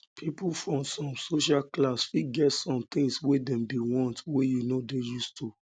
people from some social class fit get some things wey dem dey want wey you no dey used too